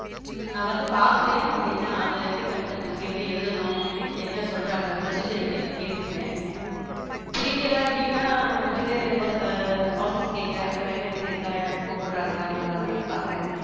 உம் நான் வந்து பாக்குறேன் அவங்க என்ன அதை எப்படி content இருக்கு எப்படி எழுதணும் அப்படின்னு என்ன சொல்றாங்க procedure எப்படின்னு கேட்டுக்கிறேன் பிடிக்கலை அப்படின்னா விட்டுட்டு ஒரு office கேட்கிறேன் அங்க vacancy இருக்கா, என்னன்னு கூப்பிடறாங்களா, நம்மள அப்படின்னு பார்க்கிறேன்.